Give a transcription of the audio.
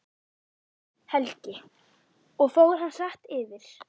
Helgi: Og fór hann hratt yfir?